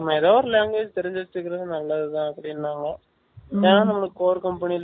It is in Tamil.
ஆமா எதாவது ஒரு language தெரிஞ்சி வச்சிக்கிறது நல்லதுதான் அப்படின்னாங்க ஏன்னா நம்ம Core Company